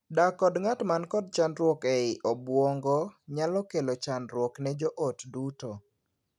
Dak kod ng'at man kod chandruok ei obuongo nyalo kelo chandruok ne joot duto.